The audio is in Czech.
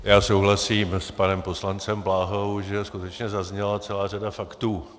Já souhlasím s panem poslancem Bláhou, že skutečně zazněla celá řada faktů.